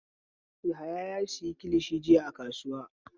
Yahaya ya sayi kilishi jiya a kasuwa.